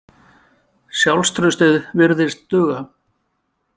Sjálfstraustið virðist duga.